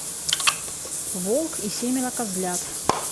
волк и семеро козлят